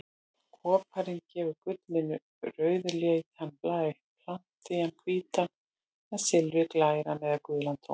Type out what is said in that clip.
Koparinn gefur gullinu rauðleitan blæ, platínan hvítan en silfrið grænan eða gulan tón.